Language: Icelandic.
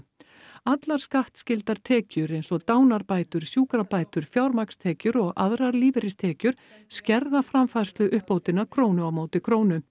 allar skattskyldar tekjur eins og dánarbætur fjármagnstekjur aðrar lífeyristekjur skerða framfærsluuppbótina krónu á móti krónu